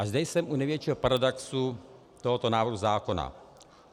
A zde jsem u největšího paradoxu tohoto návrhu zákona.